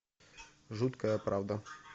жуткая правда